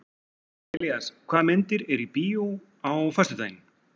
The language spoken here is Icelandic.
Elías, hvaða myndir eru í bíó á föstudaginn?